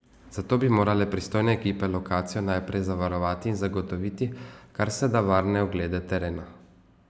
Zato bi morale pristojne ekipe lokacijo najprej zavarovati in zagotoviti kar se da varne oglede terena.